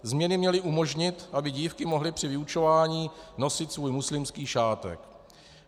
Změny měly umožnit, aby dívky mohly při vyučování nosit svůj muslimský šátek.